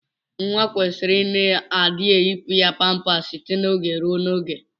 Nwa kwesiri ina adi eyipụ ya pampas site na oge ruo na oge.